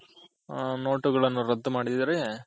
note ಗಳನ್ನು ರದ್ದು ಮಾಡಿದಾರೆ.